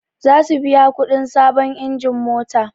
Zasu biya kuɗin sabon injin mota